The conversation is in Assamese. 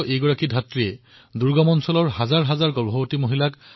তেওঁ কৰ্ণাটকত বিশেষকৈ তাৰে দুৰ্গম এলেকাৰ হাজাৰবাজাৰ মহিলাক সেৱা প্ৰদান কৰিছিল